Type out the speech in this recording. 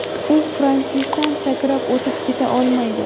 U Fransisdan sakrab o‘tib keta olmaydi.